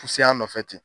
Fusaya nɔfɛ ten